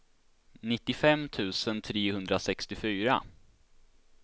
nittiofem tusen trehundrasextiofyra